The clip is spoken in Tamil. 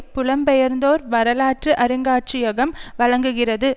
புலம்பெயர்ந்தோர் வரலாற்று அருங்காட்சியகம் வழங்குகிறது